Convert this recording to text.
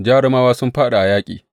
Jarumawa sun fāɗi a yaƙi!